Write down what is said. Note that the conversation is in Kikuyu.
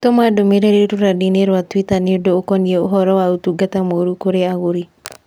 tũma ndũmīrīri rũrenda-inī rũa tũita nī ũndu ũkonĩĩ ũhoro wa ũtungata mũũru kũrĩ agũri